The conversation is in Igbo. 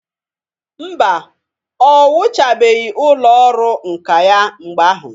Mba, o wuchabeghi ụlọ ọrụ nka ya mgbe ahụ.